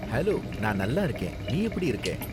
Hello, நான் நல்லா இருக்கேன், நீ எப்படி இருக்கே?